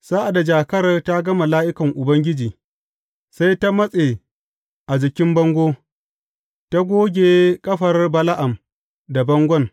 Sa’ad da jakar ta ga mala’ikan Ubangiji, sai ta matse a jikin bango, ta goge ƙafar Bala’am da bangon.